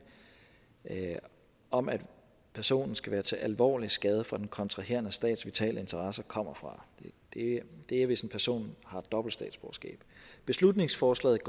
om at personen skal være til alvorlig skade for den kontraherende stats vitale interesser kommer fra det er hvis en person har dobbelt statsborgerskab beslutningsforslaget